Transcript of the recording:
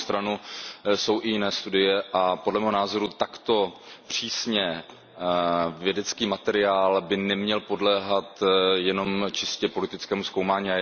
Na druhou stranu jsou i jiné studie a podle mého názoru takto přísně vědecký materiál by neměl podléhat jenom čistě politickému zkoumání.